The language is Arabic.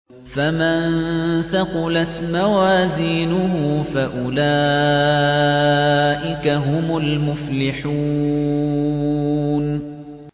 فَمَن ثَقُلَتْ مَوَازِينُهُ فَأُولَٰئِكَ هُمُ الْمُفْلِحُونَ